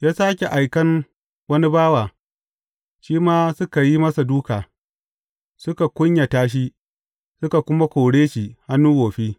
Ya sāke aikan wani bawa, shi ma suka yi masa dūka, suka kunyata shi, suka kuma kore shi hannu wofi.